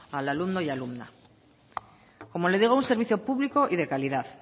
al alumno y alumna como le digo un servicio público y de calidad